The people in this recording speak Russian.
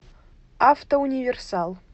автоуниверсал